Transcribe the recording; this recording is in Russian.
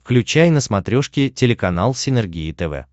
включай на смотрешке телеканал синергия тв